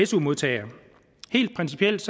su modtagere helt principielt